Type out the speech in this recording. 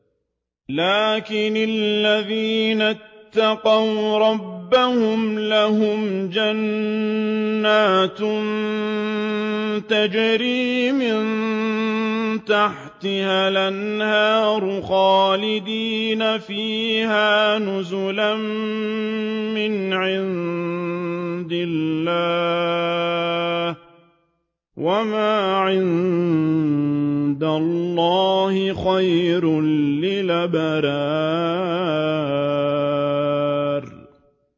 لَٰكِنِ الَّذِينَ اتَّقَوْا رَبَّهُمْ لَهُمْ جَنَّاتٌ تَجْرِي مِن تَحْتِهَا الْأَنْهَارُ خَالِدِينَ فِيهَا نُزُلًا مِّنْ عِندِ اللَّهِ ۗ وَمَا عِندَ اللَّهِ خَيْرٌ لِّلْأَبْرَارِ